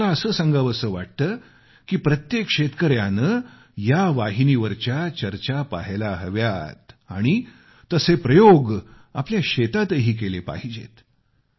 आणि मला असं सांगावसं वाटतं की प्रत्येक शेतकऱ्याने या वाहिनीवरच्या चर्चा पहायला हव्यात आणि तसे प्रयोग आपल्या शेतातही केले पाहिजेत